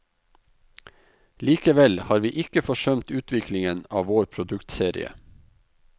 Likevel har vi ikke forsømt utviklingen av vår produktserie.